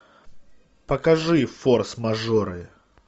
покажи форс мажоры